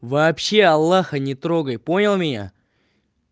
вообще аллаха не трогай понял меня